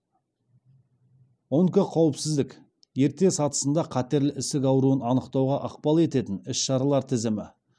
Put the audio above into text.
онкоқауіпсіздік ерте сатысында қатерлі ісік ауруын анықтауға ықпал ететін іс шаралар тізімі